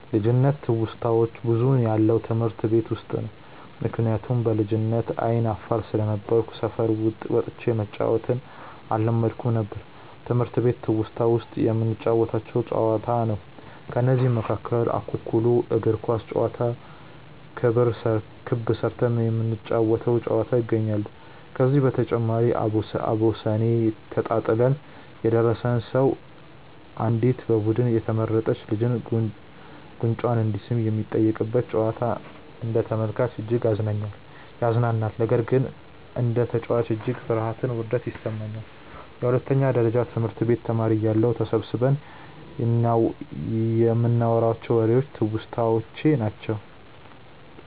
ልጅነት ትውስታዋች ብዙውን ያለው ትምህርት ቤት ውስጥ ነው። ምክንያቱም በልጅነቴ አይነ አፋር ስለነበርኩ ሰፈር ወጥቼ መጫዎትን አለመድኩም ነበር። ትምህርት ቤት ትውስታ ውስጥ የምንጫወተው ጨዋታ ነው። ከነዚህም መካከል እኩኩሉ፣ እግር ኳስ ጨዋታ፣ ክብ ስርተን የምንጫወ ተው ጨዋታ ይገኛሉ። ከዚህ በተጨማሪም አቦሰኔ ተጣጥለን የደረሰው ሰው አንዲት በቡዱኑ የተመረጥች ልጅን ጉንጯን እንዲስም የሚጠየቅበት ጨዋታ አንደ ተመልካች እጅግ ያዝናናኛል። ነገር ግን እንደ ተጨዋች እጅግ ፍርሀትና ውርደት ይሰማኛል። የሁለተኛ ደረጀ ትምህርት ቤት ተማሪ እያለሁ ተሰብስበን ይንናዋራቸው ዎሬዎች ትውስታዎቼ ናቸው።